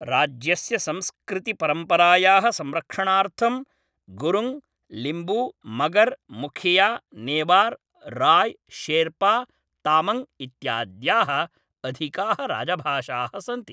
राज्यस्य संस्कृतिपरम्परायाः संरक्षणार्थं गुरुङ्ग्, लिम्बू, मगर्, मुखिया, नेवार्, राय्, शेर्पा, तामाङ्ग् इत्याद्याः अधिकाः राजभाषाः सन्ति।